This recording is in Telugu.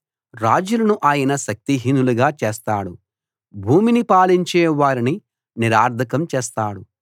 రాజులను ఆయన శక్తిహీనులుగా చేస్తాడు భూమిని పాలించే వారిని నిరర్ధకం చేస్తాడు